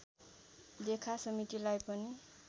लेखा समितिलाई पनि